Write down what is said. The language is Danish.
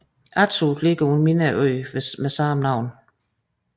Attu ligger på en mindre ø med samme navn